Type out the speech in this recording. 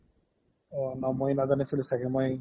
অ ন মই নাজানিছিলো ছাগে মই